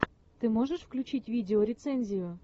ты можешь включить видеорецензию